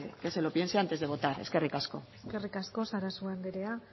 que bueno que se lo piense antes de votar eskerri asko eskerrik asko sarasua anderea